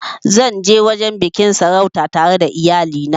Zan ja wajen biƙin sarautan tare da iyali na